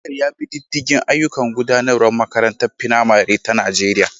Shugaban makarantar ya bi diddigin ayyukan gudanarwa a makarantar firamare ta Najeriya.